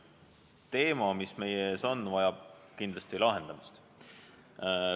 Probleem, mis meie ees on, vajab kindlasti lahendamist.